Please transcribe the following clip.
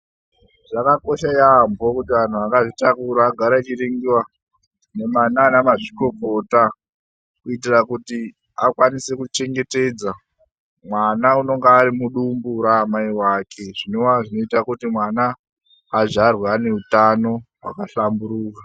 Zvakakosha yaambho kuti anhu akazvitakura agare vachiningiwa naana mazvikokota kuitira kuti akwanise kuchengetedza mwana unonga ari mudumbu raamai vake. zvinova zvinoita kuti mwana azvarwe aine utono hwakahlamburuka.